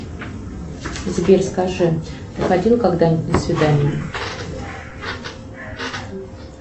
сбер скажи ты ходил когда нибудь на свидание